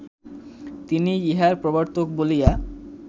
তিনিই ইহার প্রবর্তক বলিয়া